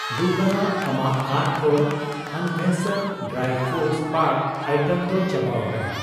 ᱫᱩᱠᱷᱟᱱᱟᱜ, ᱟᱢᱟᱜ ᱠᱟᱨᱴ ᱠᱷᱚᱱ ᱟᱱᱵᱷᱮᱥᱟᱱ ᱰᱨᱟᱭ ᱯᱷᱚᱨᱩᱴ ᱯᱟᱠ ᱟᱭᱴᱮᱢ ᱫᱚ ᱪᱟᱵᱟᱣᱟᱠᱟᱱᱟ ᱾